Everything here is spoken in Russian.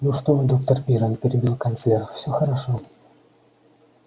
ну что вы доктор пиренн перебил канцлер всё хорошо